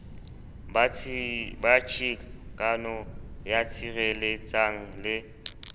ba chikano ya sireletsang le